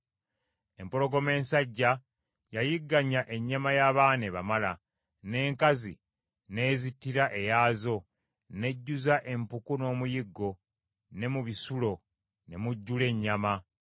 Empologoma ensajja yayigganga ennyama y’abaana ebamala, n’enkazi n’ezittira eyaazo, n’ejjuza empuku n’omuyiggo, ne mu bisulo ne mujjula ennyama.